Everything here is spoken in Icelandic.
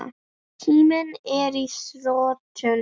Tíminn er á þrotum.